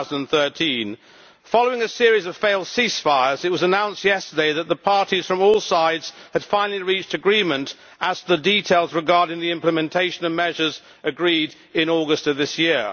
2013. Following a series of failed ceasefires, it was announced yesterday that the parties from all sides had finally reached agreement as to the details regarding the implementation of measures agreed in August of this year.